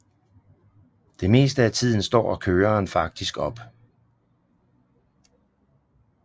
Det meste af tiden står køreren faktisk op